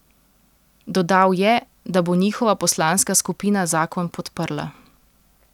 Dodal je, da bo njihova poslanska skupina zakon podprla.